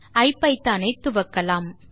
ஐபிதான் ஐ துவக்கலாம்